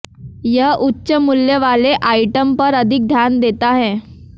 यह उच्च मूल्य वाले आइटम पर अधिक ध्यान देता है